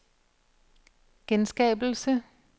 genskabelse